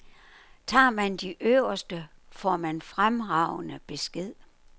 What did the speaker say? Tager man de øverste, får man fremragende besked.